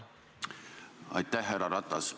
Aitäh, härra Ratas!